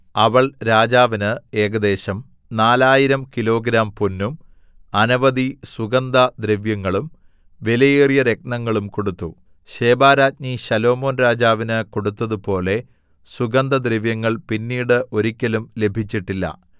അവൾ രാജാവിന് ഏകദേശം 4000 കിലോഗ്രാം പൊന്നും അനവധി സുഗന്ധദ്രവ്യങ്ങളും വിലയേറിയ രത്നങ്ങളും കൊടുത്തു ശെബാരാജ്ഞി ശലോമോൻ രാജാവിന് കൊടുത്തതുപോലെ സുഗന്ധദ്രവ്യങ്ങൾ പിന്നീട് ഒരിക്കലും ലഭിച്ചിട്ടില്ല